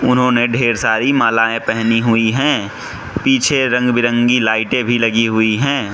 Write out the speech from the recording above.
उन्होंने ढेर सारी मालाएं पेहनी हुईं हैं पीछे रंग बिरंगी लाइटे भी लगी हुई हैं।